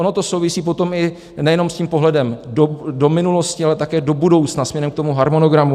Ono to souvisí potom i nejenom s tím pohledem do minulosti, ale také do budoucna směrem k tomu harmonogramu.